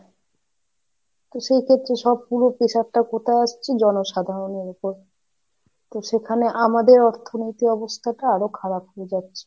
তো সেইক্ষেত্রে সব পুরো pressure টা কোথায় আসছে জনসাধারণের উপর, তো সেখানে আমাদের অর্থনৈতিক অবস্থাটা আরো খারাপ হয়ে যাচ্ছে।